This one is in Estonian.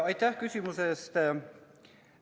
Aitäh küsimuse eest!